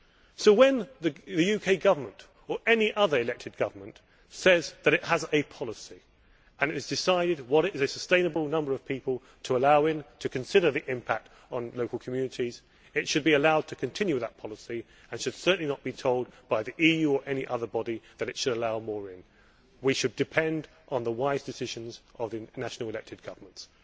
So, when the UK Government, or any other elected government, says that it has a policy and that it has decided on what is a sustainable number of people to allow in, considering the impact on local communities, it should be allowed to continue that policy and should certainly not be told by the EU, or any other body, that it should allow more room. We should depend on the wise decisions of the national elected governments.